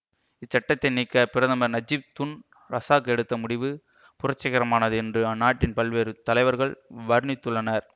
இச்சட்டத்தை நீக்க பிரதமர் Najib Tun Razak எடுத்த முடிவு புரட்சிகரமானது என்று அந்நாட்டின் பல்வேறு தலைவர்கள் வர்ணித்துள்ளனர்